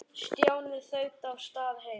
Stjáni þaut af stað heim.